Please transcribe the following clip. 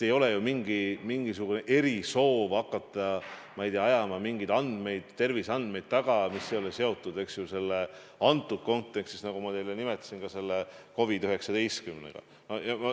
Mul pole mingisugust erisoovi hakata taga ajama, ma ei tea, mingeid terviseandmeid, mis ei ole antud kontekstis, nagu ma teile nimetasin, selle COVID-19-ga seotud.